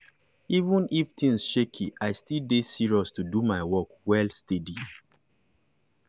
even if things shaky i still dey serious to do my work well steady.